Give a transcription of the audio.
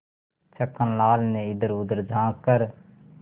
छक्कन लाल ने इधरउधर झॉँक कर